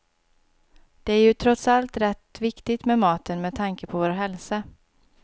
Det är ju trots allt rätt viktigt med maten med tanke på vår hälsa.